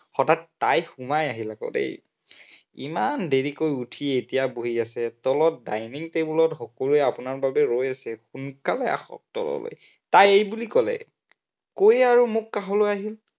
হঠাৎ তাই সোমাই আহিল আকৌ দেই। ইমান দেৰিকৈ উঠি এতিয়া বহি আছে, তলত dining table ত সকলোৱে আপোনাৰ বাবে ৰৈ আছে, সোনকালে আহক তললৈ, তাই এইবুলি কলে, কৈয়ে আৰু মোৰ কাষলৈ আহিল